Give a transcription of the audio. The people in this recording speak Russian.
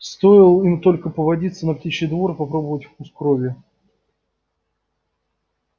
стоил им только повадиться на птичий двор и попробовать вкус крови